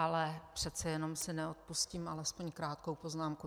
Ale přece jenom si neodpustím alespoň krátkou poznámku.